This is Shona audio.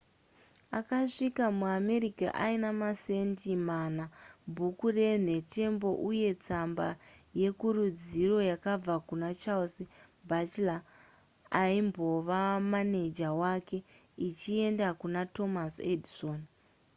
akasvika muamerica aine masendi mana bhuku renhetembo uye netsamba yekurudziro yakabva kuna charles batchelor aimbova maneja wake ichienda kuna thomas edison